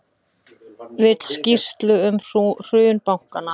Vill skýrslu um hrun bankanna